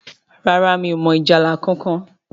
ràrá mí ọ mọ ìjálá kánkan.